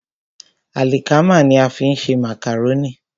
Àlìkámà ní a fi ń ṣe màkàrónì.